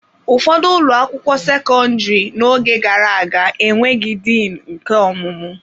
Ụfọdụ ụlọ akwụkwọ sekọndrị n'oge gara aga enweghị Din nke ọmụmụ.